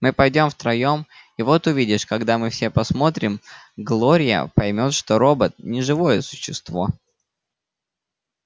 мы пойдём втроём и вот увидишь когда мы все посмотрим глория поймёт что робот не живое существо